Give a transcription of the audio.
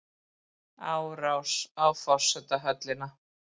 Árás á forsetahöllina